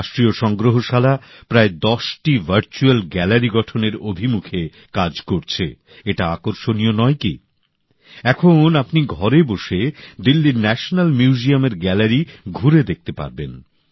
রাষ্ট্রীয় সংগ্রহশালা প্রায় দশটি ভার্চুয়াল গ্যালারি গঠনের জন্য কাজ করছে এটা আকর্ষণীয় নয় কি এখন আপনি ঘরে বসে দিল্লীর ন্যাশনাল মিউজিয়ামের গ্যালারি ঘুরে দেখতে পারবেন